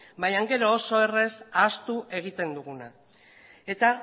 baino gero oso errez ahaztu egiten duguna eta